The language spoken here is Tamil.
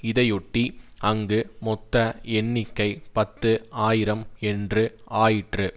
இதையொட்டி அங்கு மொத்த எண்ணிக்கை பத்து ஆயிரம் என்று ஆயிற்று